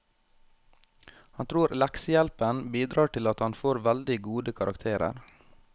Han tror leksehjelpen bidrar til at han får veldig gode karakterer.